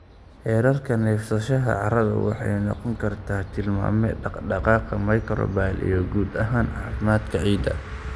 Heerarka neefsashada carradu waxay noqon kartaa tilmaame dhaqdhaqaaqa microbial iyo guud ahaan caafimaadka ciidda.